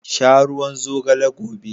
Sha ruwan zogale gobe.